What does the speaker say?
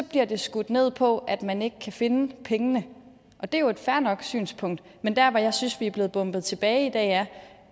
bliver det skudt ned på at man ikke kan finde pengene og det er jo et fair nok synspunkt men der hvor jeg synes vi i blevet bombet tilbage er